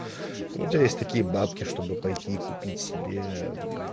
ну то есть такие бабки чтобы пойти купить себе